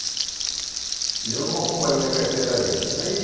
E eu não acompanhei a carteira agrícola.